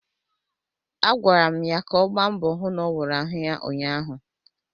Agwara m ya ka ọ gba mbọ hụ n'ọwụrụ ahụ ya ụnyaahụ!